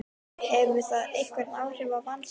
Hefur það einhver áhrif á Valsliðið?